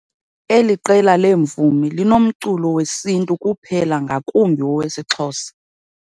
Eli qela leemvumi linomculo wesintu kuphela ngakumbi owesiXhosa.